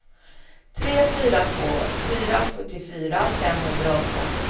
tre fyra två fyra sjuttiofyra femhundraåtta